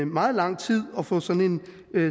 meget lang tid at få sådan en